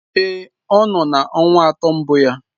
Èé, ọ nọ na ọnwa atọ mbụ ya.